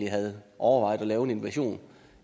havde overvejet at lave en invasion